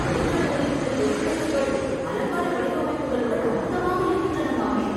வெளிநாடுகளில் உள்ள தெரு விளக்குகள் அலங்கார வடிவமைப்புகளுடன் அற்புதமாக இருக்கின்றனவாமே...